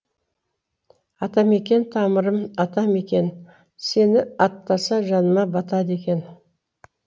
атамекен тамырым атамекен сені аттаса жаныма батады екен